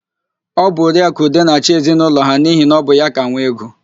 Ọ bụ Oriaakụ Ude na-achị n'ezinaụlọ ha n'ihi na ọ bụ ya ka nwee ego.